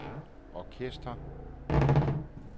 orkester